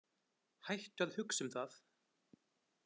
Hættu að hugsa um það.